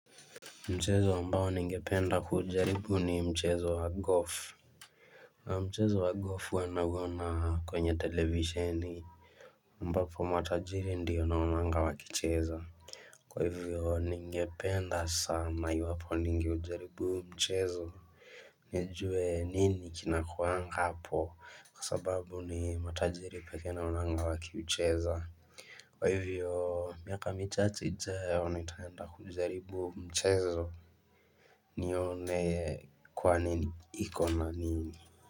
Mchezo ambao ningependa kujaribu ni mchezo wa golf Mchezo wa golf huwa nauona kwenye televisheni ambapo matajiri ndiyo naonanga wakicheza Kwa hivyo ningependa sana iwapo ningejaribu mchezo nijue nini kinakuwanga hapo kwa sababu ni matajiri pekee naonanga wakiucheza Kwa hivyo miaka michache ijayo nitaenda kujaribu mchezo nione kwa nini ikona nini.